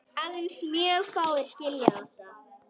Aðeins mjög fáir skilja þetta.